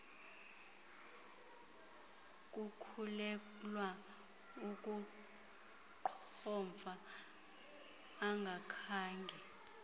kukhulelwa ukuqhomfa ungakhange